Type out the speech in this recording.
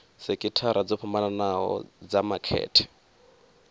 sekithara dzo fhambanho dza makete